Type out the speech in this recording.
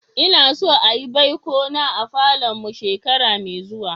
Na so a'yi baiko na a falon mu shekara mai zuwa.